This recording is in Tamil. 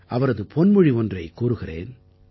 அவரது பொன்மொழி ஒன்றைக் கூறுகிறேன்